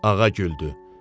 Ağa güldü.